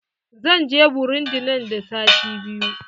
Zan je burundi nan da sati biyu.